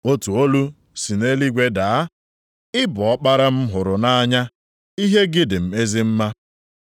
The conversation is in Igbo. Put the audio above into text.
Otu olu si nʼeluigwe daa, “Ị bụ Ọkpara m hụrụ nʼanya, ihe gị dị m ezi mma.”